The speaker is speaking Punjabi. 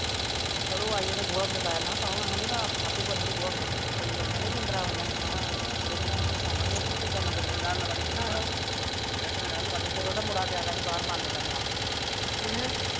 ਜਦੋਂ ਉਹ ਆਈ ਉਹਨੇ ਬੂਹਾ ਖੜਕਾਇਆ, ਮੈਂ ਕਿਹਾ ਕੋਣ ਆ ਕਹਿੰਦੀ ਆਪੇ ਬੋਲਣ ਡਈ ਬੂਹਾ ਖੋਲ ਤੈਨੂੰ ਬੜੀਆ ਕਹਿੰਦੀ ਨੀਂਦਾ ਆਈਆ ਨੇ, ਮੈਂ ਕਿਹਾ ਆਹੋ ਇਸਤਰਾਂ ਈ ਆ ਸੋਣਾ ਈ ਆ ਕੀ ਕਰਨਾ ਵਹਲਿਆ ਨੇ ਉੱਥੇ ਤੋਂ ਉਹਦਾ ਮੁੰਡਾ ਗਿਆ ਸੀ ਬਾਹਰ ਮਾਮੇ ਦਾ ਮੁੰਡਾ